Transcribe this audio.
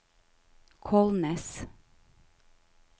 Kolnes